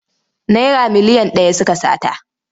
Naira miliyan ɗaya suka sata.